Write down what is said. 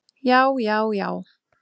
Já, já, já!